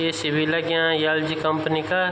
ए.सी. बि लग्यां LG company का।